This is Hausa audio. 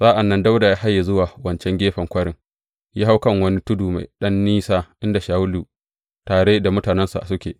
Sa’an nan Dawuda ya haye zuwa wancan gefen kwarin, ya hau kan wani tudu mai ɗan nisa inda Shawulu tare da mutanensa suke.